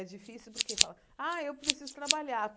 É difícil porque fala, ah, eu preciso trabalhar.